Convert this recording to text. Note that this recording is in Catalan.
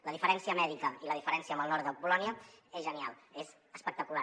la diferència mèdica i la diferència amb el nord de polònia és genial és espectacular